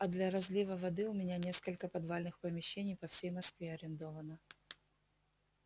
а для разлива воды у меня несколько подвальных помещений по всей москве арендовано